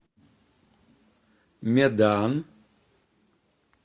медан